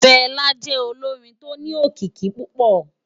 Fela jè ólórin tó ni ókiki púpò